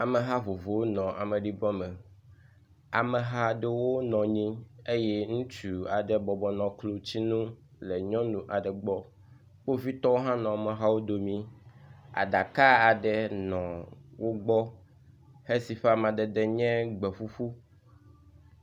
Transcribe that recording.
Ameha vovovowo nɔ amedibɔ me, ameha ɖewo nɔ anyi eye ŋutsu aɖe bɔbɔ nɔ klotsinu le nyɔnu aɖe gbɔ, kpovitɔwo hã nɔ amehawo domii, aɖaka aɖe nɔ wogbɔ hesi ƒe amadede nye gbeƒuƒu.